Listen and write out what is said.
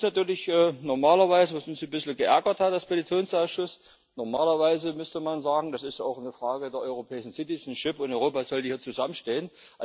Was uns natürlich normalerweise ein bisschen geärgert hat als Petitionsausschuss Normalerweise müsste man sagen, das ist auch eine Frage der europäischen Staatsbürgerschaft, und Europa sollte hier zusammenstehen.